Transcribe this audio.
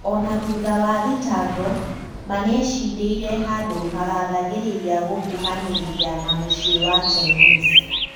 Ona thutha wa thitango, Ma nĩecindĩire handũ hagathagĩrĩria gũkuhanĩrĩria na mũciĩ wa Chinese